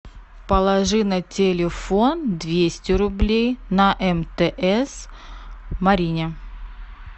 положи на телефон двести рублей на мтс марине